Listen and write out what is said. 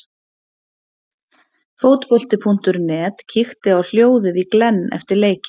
Fótbolti.net kíkti á hljóðið í Glenn eftir leikinn.